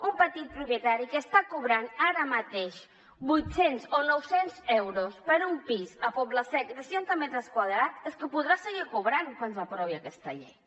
un petit propietari que està cobrant ara mateix vuit cents o nou cents euros per un pis al poble sec de seixanta metres quadrats és que els podrà seguir cobrant quan s’aprovi aquesta llei